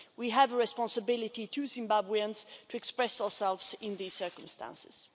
We have a responsibility to Zimbabweans to express ourselves in these circumstances.